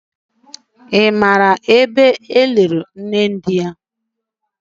Ị maara ebe eliri nne di ya?